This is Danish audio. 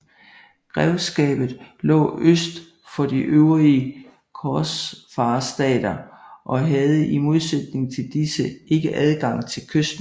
Grevskabet lå øst for de øvrige korsfarerstater og havde i modsætning til disse ikke adgang til kysten